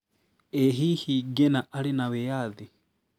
ĩ hihi Ngĩna arĩ na wĩathi?